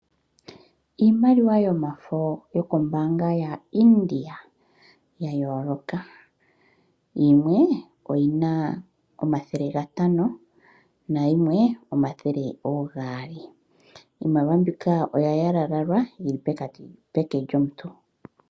Iimaliwa yomafo yokombaanga ya India ya yooloka. Yimwe oyina omathele gatano nayimwe omathele gaali.